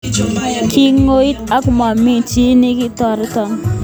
Kingoit ka momi chi nikitoroch